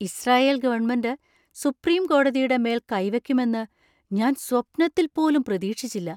Israel government supreme കോടതിയുടെ മേൽ കൈവെക്കുമെന്ന് ഞാൻ സ്വപ്നത്തിൽ പോലും പ്രതീക്ഷിച്ചില്ല.